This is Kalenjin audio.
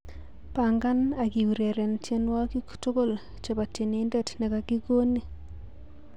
Bangan ak kiureren tiewokik tugul chebo tienindet nekakikoni